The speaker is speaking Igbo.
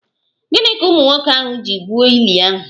Gịnị ka ụmụ nwoke ahụ ji gwuo ili ahụ?